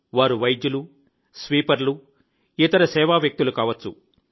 వారు వైద్యులు స్వీపర్లు ఇతర సేవా వ్యక్తులు కావచ్చు